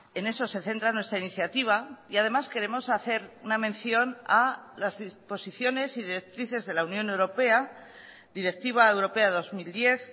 en esose centra nuestra iniciativa y además queremos hacer una mención a las disposiciones y directrices de la unión europea directiva europea dos mil diez